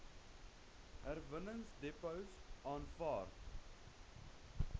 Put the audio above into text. herwinningsdepots aanvaar